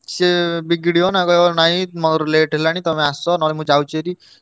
ସିଏ ବିଗିଡିବ ନା କହିବ ନାଇଁ ମୋର late ହେଲାଣି ତମେ ଆସ ନହେଲେ ମୁଁ ଯାଉଚି ଭାରି।